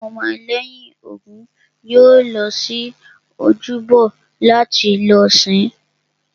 Àwọn ọmọ lẹ́yìn Ògún yóò lọ sí ojúbọ láti lọ sìn-ín